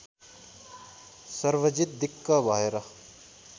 सर्वजित दिक्क भएर